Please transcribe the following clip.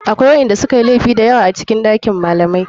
Akwai waɗanda sukayi laifi dayawa a cikin ɗakin malamai.